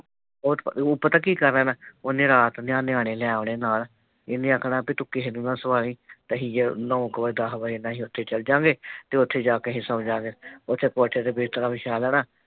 ਉਹ ਪਤਾ ਕੀ ਕਰ ਲੈਣਾ। ਉਨੇ ਰਾਤ ਨਿਆਣੇ ਨਾ ਲੈ ਆਉਣੇ ਨਾਲ। ਇਹਨੇ ਆਖਣਾ ਕਿ ਤੂੰ ਕਿਹੇ ਨੂੰ ਨਾ ਸੁਵਾਂ ਲਈ ਤੇ ਅਸੀ ਨੋ ਕੁ ਵਜੇ ਦੱਸ ਵਜੇ ਨਾਲ ਉੱਥੇ ਚੱਲ ਜਾਂਗੇ ਤੇ ਉੱਥੇ ਜਾ ਕੇ ਅਸੀ ਸੌਂ ਜਾਂਗੇ। ਉੱਥੇ ਕੌਠੇ ਤੇ ਬਿਸਤਰਾ ਵਿਛਾ ਲੈਣਾ।